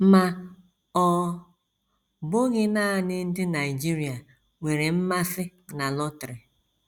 Ma ọ bụghị nanị ndị Nigeria nwere mmasị na lọtrị.